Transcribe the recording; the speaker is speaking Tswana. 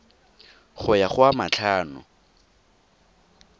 go ya go a matlhano